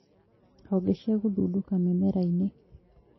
Honge cia gũthundũka mĩmera-inĩ